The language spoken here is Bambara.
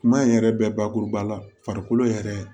Kuma in yɛrɛ bɛ bakuruba la farikolo yɛrɛ